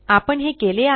आपण हे केले आहे